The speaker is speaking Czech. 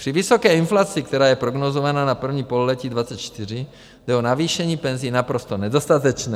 Při vysoké inflaci, která je prognózovaná na první pololetí 2024, jde o navýšení penzí naprosto nedostatečné.